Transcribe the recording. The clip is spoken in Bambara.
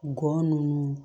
Gɔ nunnu